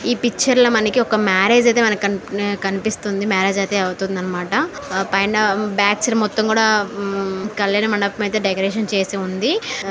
ఈ పిక్చర్లో మేరేజ్ అయితే కనిపిస్తుంది. మేరేజ్ అయితే అవుతుందన్నమాట. పైన బ్యాక్ సైడ్ మొత్తం కూడ కల్యాణమండపం అయితే డెకరేషన్ చేసి ఉంది.